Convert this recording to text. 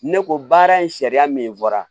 Ne ko baara in sariya min fɔra